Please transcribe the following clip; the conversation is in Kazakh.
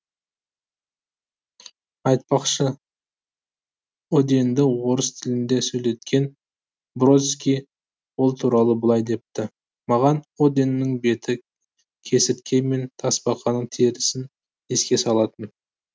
айтпақшы оденді орыс тілінде сөйлеткен бродский ол туралы былай депті маған оденнің беті кесіртке мен тасбақаның терісін еске салатын